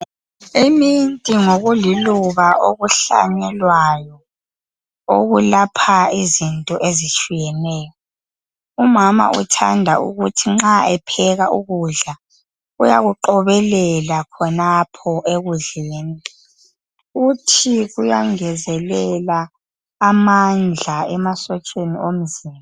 Iminti ngokuliluba okuhlanyelwayo okulapha izinto ezitshiyeneyo. Umama uthanda ukuthi nxa epheka ukudla uyakuqobelela khonapho ekudleni, uthi kuyangezelela amandla emasotsheni omzimba.